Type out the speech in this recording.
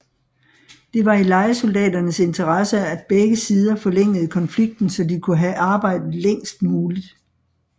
Det var i lejesoldaternes interesse at begge sider forlængede konflikten så de kunne have arbejde længst muligt